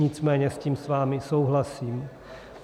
Nicméně s tím s vámi souhlasím.